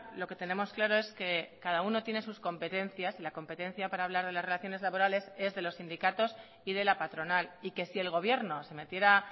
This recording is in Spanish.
lo que tenemos claro es que cada uno tiene sus competencias y la competencia para hablar de las relaciones laborales es de los sindicatos y de la patronal y que si el gobierno se metiera